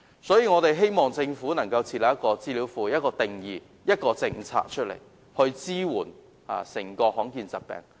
所以，我希望政府設立資料庫、制訂定義，並提出政策，以支援罕見疾病患者。